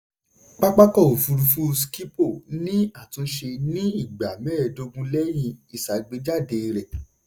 pápákọ̀ òfurufú schipol ni àtúnṣe ní ìgbà mẹ́ẹ̀dógún lẹ́yìn ìṣàgbéjáde rẹ̀.